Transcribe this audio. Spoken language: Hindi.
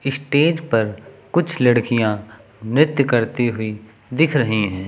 स्टेज पर कुछ लड़कियां नृत्य करती हुई दिख रही है।